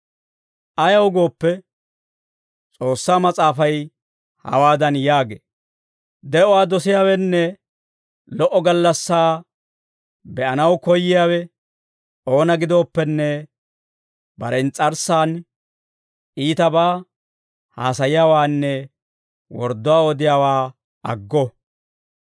Ayaw gooppe, S'oossaa Mas'aafay hawaadan yaagee; «De'uwaa dosiyaawenne lo"o gallassaa be'anaw koyyiyaawe oona gidooppenne bare ins's'arssan iitabaa haasayiyaawaanne wordduwaa odiyaawaa aggo.